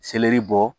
Seleri bɔ